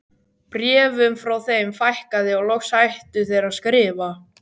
Bréfum frá þeim fækkaði og loks hættu þeir að skrifa.